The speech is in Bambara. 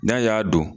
N'a y'a don